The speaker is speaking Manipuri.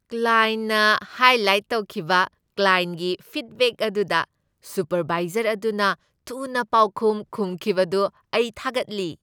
ꯀ꯭ꯂꯥꯏꯟꯠꯅ ꯍꯥꯏꯂꯥꯏꯠ ꯇꯧꯈꯤꯕ ꯀ꯭ꯂꯥꯏꯟꯠꯒꯤ ꯐꯤꯗꯕꯦꯛ ꯑꯗꯨꯗ ꯁꯨꯄꯔꯚꯥꯏꯖꯔ ꯑꯗꯨꯅ ꯊꯨꯅ ꯄꯥꯎꯈꯨꯝ ꯈꯨꯝꯈꯤꯕꯗꯨ ꯑꯩ ꯊꯥꯒꯠꯂꯤ ꯫